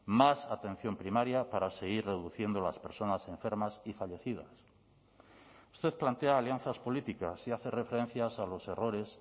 más atención primaria para seguir reduciendo las personas enfermas y fallecidas usted plantea alianzas políticas y hace referencias a los errores